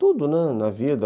Tudo, né, na vida.